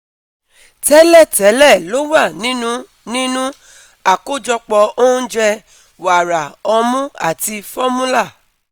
Tẹ́lẹ̀tẹ́lẹ̀ lo wà nínú nínú àkójọpọ̀ oúnjẹ wàrà ọmú àti formula